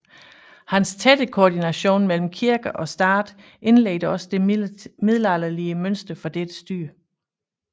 Hans tætte koordination mellem kirke og stat indledte også det middelalderlige mønster for dette styre